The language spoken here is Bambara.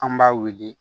An b'a wele